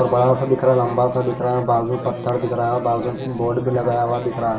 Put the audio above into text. और बड़ा सा दिख रहा है लंबा सा दिख रहा है बाज़ू में पत्थर दिख रहा है बाज़ू में बोर्ड भी लगाया हुआ दिख रहा।